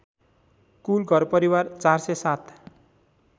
कुल घरपरिवार ४०७